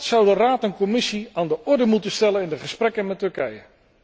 Dat zouden Raad en Commissie aan de orde moeten stellen in de gesprekken met Turkije.